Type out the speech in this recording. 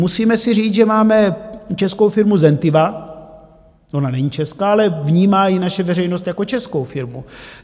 Musíme si říct, že máme českou firmu Zentiva - ona není česká, ale vnímá ji naše veřejnost jako českou firmu.